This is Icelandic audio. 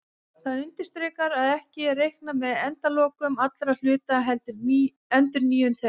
Það undirstrikar að ekki er reiknað með endalokum allra hluta heldur endurnýjun þeirra.